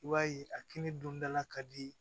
I b'a ye a kini don da la ka di